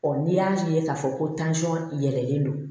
n'i y'a ye k'a fɔ ko yɛlɛlen don